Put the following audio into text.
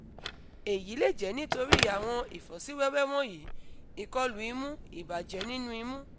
eyi le jẹ nitori awọn ifosiwewe wọnyi: - ikolu imu - ibajẹ ninu imu